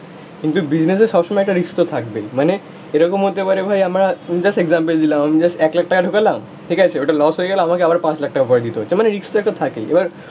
কিন্তু বিজনেসে সবসময় একটা রিস্ক তো থাকবেই, মানে এরকম হতে পারে ভাই আমার জাস্ট এক্সাম্পল দিলাম, আমি জাস্ট এক লাখ টাকা ঢোকালাম, ঠিক আছে? ওটা লস হয়ে গেলে আমাকে আবার পাঁচ লাখ টাকা ভরে দিতে হচ্ছ, মানে রিস্ক তো একটা থাকেই এবার